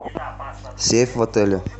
сейф в отеле